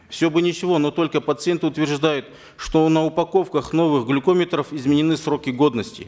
все бы ничего но только пациенты утверждают что на упаковках новых глюкометров изменены сроки годности